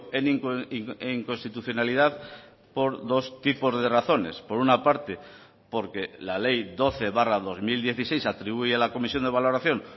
en inconstitucionalidad por dos tipos de razones por una parte porque la ley doce barra dos mil dieciséis atribuye la comisión de valoración